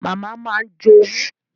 Màmá máa ń jowú